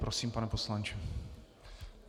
Prosím, pane poslanče.